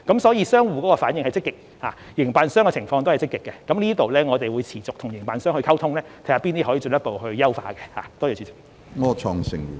所以，商戶的反應是積極的，營辦商的情況亦積極，在這方面，我們會持續與營辦商溝通，看看哪些方面可以進一步優化。